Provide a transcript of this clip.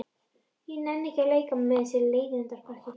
Ég nenni ekki að leika mér með þessu leiðindapakki.